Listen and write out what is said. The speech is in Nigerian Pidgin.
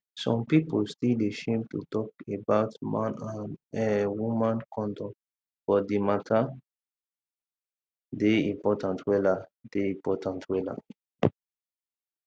some pipu still dey shame to talk about man and[um]woman condom but di matter dey important wella dey important wella